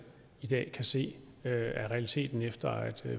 kan ses er realiteten efter at